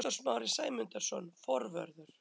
Viktor Smári Sæmundsson, forvörður.